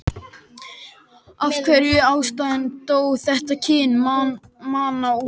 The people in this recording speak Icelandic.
Af einhverjum ástæðum dó þetta kyn manna út.